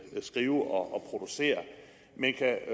skrive og producere men kan